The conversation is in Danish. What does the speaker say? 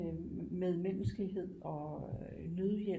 Medmenneskelighed og nødhjælp